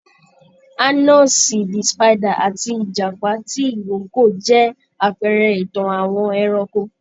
Anansi the Spider àti ìjàpá tìrókò jẹ́ àpẹẹrẹ ìtàn àwọn ẹranko